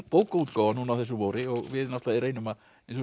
bókaútgáfa núna á þessu vori og við reynum að